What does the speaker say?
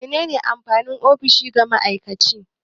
Me ne ne amfanin ofishi ga ma'aikaci?